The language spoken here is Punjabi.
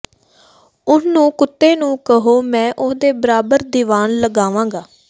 ਉਹਨੂੰ ਕੁੱਤੇ ਨੂੰ ਕਹੋ ਮੈਂ ਉਹਦੇ ਬਰਾਬਰ ਦਿਵਾਨ ਲਗਾਵਾਂਗਾ